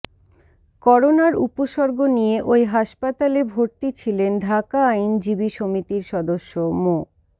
করোনার উপসর্গ নিয়ে ওই হাসপাতালে ভর্তি ছিলেন ঢাকা আইনজীবী সমিতির সদস্য মো